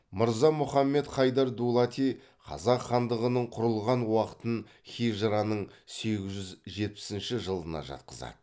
мырза мұхамед хайдар дулати қазақ хандығының құрылған уақытын хижраның сегіз жүз жетпіс жылына жатқызады